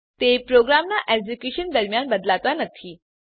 તે પ્રોગ્રામનાં એક્ઝેક્યુંશન દરમ્યાન બદલાતા નથી